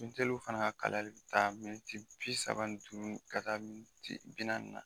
fana ka kalayali be taa bi saba ni duuru ka taa bi naani na.